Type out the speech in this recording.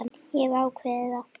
Ég hef ákveðið það.